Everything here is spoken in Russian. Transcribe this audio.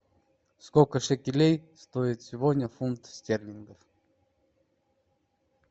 сколько шекелей стоит сегодня фунт стерлингов